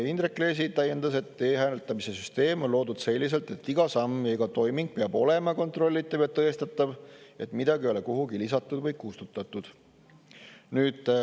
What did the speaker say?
Indrek Leesi täiendas, et e-hääletamise süsteem on loodud selliselt, et iga samm, iga toiming peab olema kontrollitav ja tõestatav, et midagi ei ole kuhugi lisatud või kustutatud.